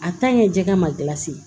jɛgɛ ma